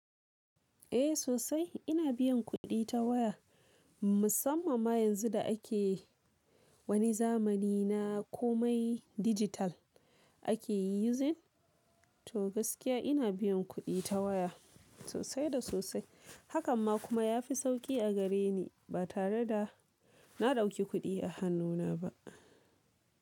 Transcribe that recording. Eh sosai ina biyan kuɗi ta waya musamman ma yanzu da ake wani zamani na komai digital ake yi using to gaskiya ina biyan kuɗi ta waya sosai da sosai. Hakan ma kuma ya fi sauƙi a gare ni ba tare da na ɗauki kuɗi a hannuna ba.